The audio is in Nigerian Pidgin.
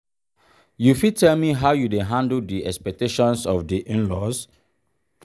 you fit tell me how you dey handle di expactations of di in-laws?